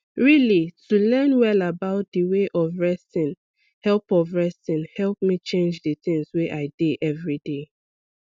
really to learn well about d way of resting help of resting help me change d things wey i dey everyday